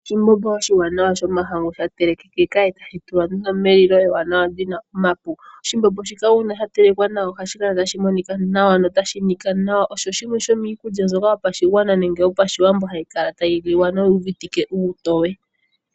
Oshithima shomahangu sha telekeka tashi tulwa nduno melilo ewanawa lina omapi. Oshimbombo shika uuna sha telekwa nawa ohashi kala tashi monika nawa, notashi nika nawa. Osho shimwe sho miikulya yopashigwana nemge yo pashiwambo mbyoka hayi kala tayi liwa noyi uvitwe uutoye.